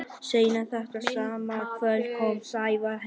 Seinna þetta sama kvöld kom Sævar heim.